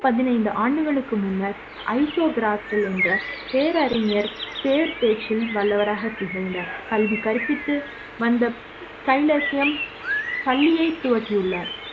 பத்து பதினைந்து ஆண்டுகளுக்கு முன்னர் ஐசோ காஸ்ட்ல் என்ற பேரறிஞர் பேரு பேச்சில் வல்ல வராக திகழ்ந்தார் கல்வி கற்பித்து வந்த கைலைசியம் பள்ளியை துவக்கி உள்ளார்